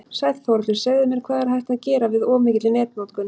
Sæll Þórhallur, segðu mér, hvað er hægt að gera við of mikilli netnotkun?